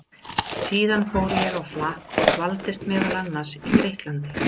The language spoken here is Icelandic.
Síðan fór ég á flakk og dvaldist meðal annars í Grikklandi.